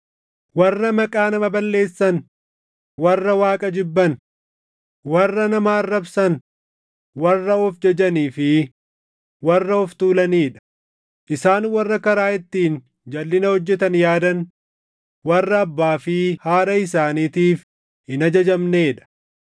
warra maqaa nama balleessan, warra Waaqa jibban, warra nama arrabsan, warra of jajanii fi warra of tuulanii dha; isaan warra karaa ittiin jalʼina hojjetan yaadan, warra abbaa fi haadha isaaniitiif hin ajajamnee dha;